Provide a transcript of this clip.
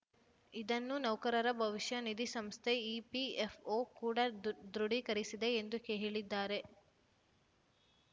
ಇದನ್ನು ನೌಕರರ ಭವಿಷ್ಯ ನಿಧಿ ಸಂಸ್ಥೆ ಇಪಿಎಫ್‌ಒ ಕೂಡ ದೃ ದೃಢೀಕರಿಸಿದೆ ಎಂದು ಹೇ ಹೇಳಿದ್ದಾರೆ